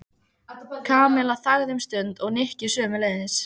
Kamilla þagði um stund og Nikki sömuleiðis.